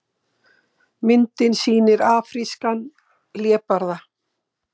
Myndin sýnir afrískan hlébarða.